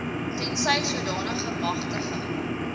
tensy sodanige magtiging